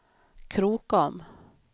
Krokom